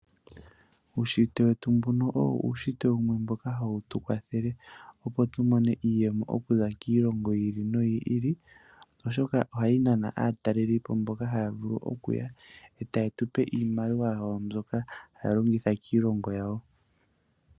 Uunshitwe wetu mbuno owo uunshitwe wumwe mboka hawu tu kwathele opo tu mone iiyemo okuza kiilongo yi ili no yi ili, oshoka ohawu nana aatalelipo mboka haya vulu okuya e ta ye tu pe iimaliwa yawo mbyoka haya longitha kiilongo yawo.